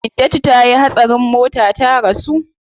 Hindatu tayi hatsarin mota ta rasu.